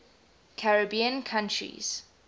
caribbean countries